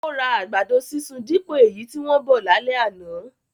Ó ra àgbàdo sísun dípò èyí tí wọ́n bọ̀ lálẹ́ àná